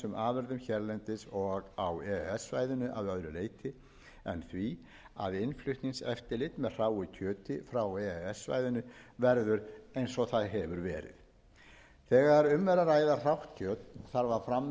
afurðum hérlendis og á e e s svæðinu að öðru leyti en því að innflutningseftirlit með hráu kjöti frá e e s svæðinu verður eins og verið hefur þegar um er að ræða hrátt kjöt þarf að framvísa fullgildum heilbrigðisvottorðum og eftir atvikum